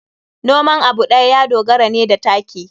Noman abu ɗaya ya dogara ne da taki.